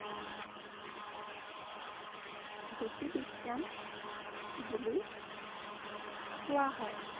গতি বিজ্ঞান বুলি কোৱা হয়।